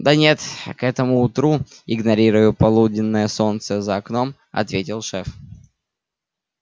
да нет к этому утру игнорируя полуденное солнце за окном ответил шеф